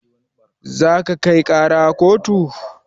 Za ka kai ƙara kotu?